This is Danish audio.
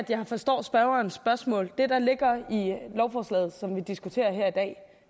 jeg har forstået lovforslaget